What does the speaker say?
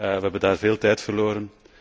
We hebben daar veel tijd verloren.